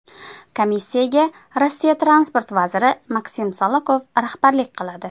Komissiyaga Rossiya transport vaziri Maksim Sokolov rahbarlik qiladi.